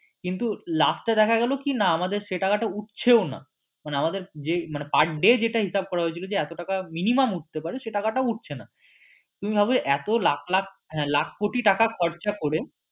কিন্তু last এ দেখা গেলো কি না সেই টাকাটা উটছেও না মানে আমাদের যে মানে per day যেটা হিসেব করা হয়েছিল যে এতো টাকা minimum উটতে পারে সেই টাকা টাও উটছে না তুমি ভাবো এতো লাখ লাখ হ্যাঁ লাখ কোটি টাকা খরচা করে